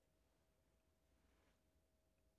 Radio24syv